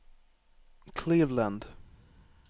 Cleveland